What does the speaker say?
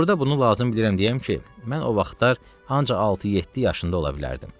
Burda bunu lazım bilirəm deyəm ki, mən o vaxtlar ancaq altı-yeddi yaşında ola bilərdim.